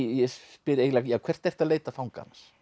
ég spyr eiginlega hvert ertu að leita fanga